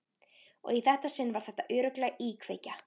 Og í þetta sinn var þetta örugglega íkveikja.